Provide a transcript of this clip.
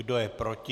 Kdo je proti?